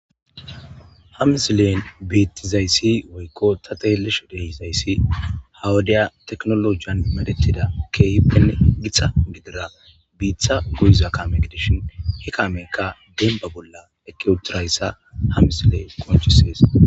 Hamisilen beettizayssi woykko ta teelesho dehizayssi hawadiya teknolojiyan medetida keypen githa udidira biitha goyza kame gidishin he kaamekka denba bolla ekeutirayssa hamisile konchisees